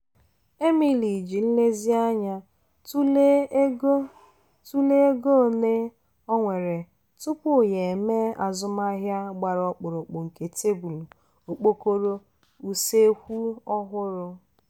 emily ji nlezianya tụlee ego tụlee ego ole o nwere tupu ya e mee azụmaahịa gbara ọkpụrụkpụ nke tebụl (okpokoro) useekwu ọhụrụ.